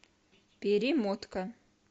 перемотка